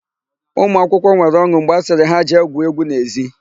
Ụmụakwụkwọ nwere ọn̄ụ mgbe a sịrị ha jee gwuo égwú n'ezi.